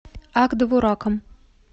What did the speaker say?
ак довураком